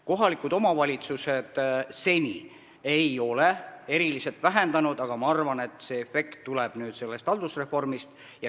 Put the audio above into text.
Kohalikud omavalitsused ei ole seni töökohti eriliselt vähendanud, aga ma arvan, et see efekt tuleb haldusreformist.